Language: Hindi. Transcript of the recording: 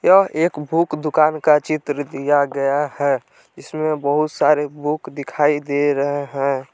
यह एक बुक दुकान का चित्र दिया गया है इसमें बहुत सारे बुक दिखाई दे रहे हैं।